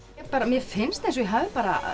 mér finnst eins og ég hafi